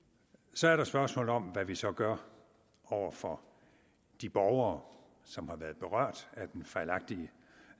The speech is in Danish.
så er der spørgsmålet om hvad vi så gør over for de borgere som har været berørt af den fejlagtige